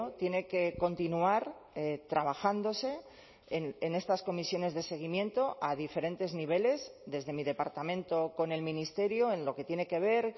tiene que continuar trabajándose en estas comisiones de seguimiento a diferentes niveles desde mi departamento con el ministerio en lo que tiene que ver